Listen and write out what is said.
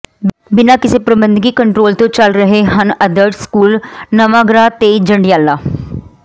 ਬਿਨਾਂ ਕਿਸੇ ਪ੍ਰਬੰਧਕੀ ਕੰਟਰੋਲ ਤੋਂ ਚੱਲ ਰਹੇ ਹਨ ਆਦਰਸ਼ ਸਕੂਲ ਨਵਾਂਗਰਾਂ ਤੇ ਜੰਡਿਆਲਾ